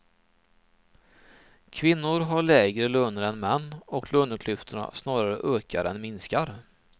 Kvinnor har lägre löner än män och löneklyftorna snarare ökar än minskar.